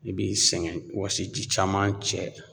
I b'i sɛgɛn, wɔsiji caman cɛ